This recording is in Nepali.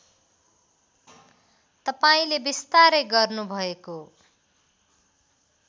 तपाईँले बिस्तारै गर्नुभएको